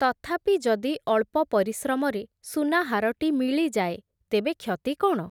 ତଥାପି ଯଦି ଅଳ୍ପ ପରିଶ୍ରମରେ ସୁନାହାରଟି ମିଳିଯାଏ, ତେବେ କ୍ଷତି କ’ଣ ।